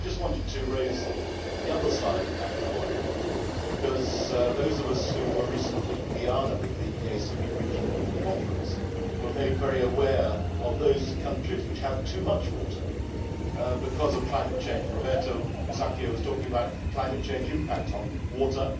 I just wanted to raise the other side of that coin because those of us who were recently in Guyana with the ACP regional conference were made very aware of those countries which have too much water because of climate change. Mr Musacchio was talking about the climate change impact on water